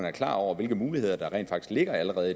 er klar over hvilke muligheder der rent faktisk allerede